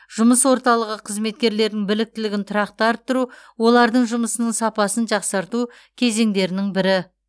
жұмыс орталығы қызметкерлерінің біліктілігін тұрақты арттыру олардың жұмысының сапасын жақсарту кезеңдерінің бірі